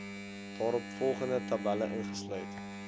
daaropvolgende tabelle ingesluit